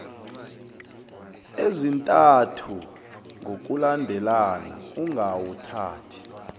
ezintathu ngokulandelana ungawuthathi